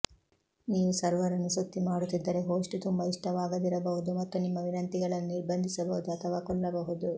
ನೀವು ಸರ್ವರ್ ಅನ್ನು ಸುತ್ತಿ ಮಾಡುತ್ತಿದ್ದರೆ ಹೋಸ್ಟ್ ತುಂಬಾ ಇಷ್ಟವಾಗದಿರಬಹುದು ಮತ್ತು ನಿಮ್ಮ ವಿನಂತಿಗಳನ್ನು ನಿರ್ಬಂಧಿಸಬಹುದು ಅಥವಾ ಕೊಲ್ಲಬಹುದು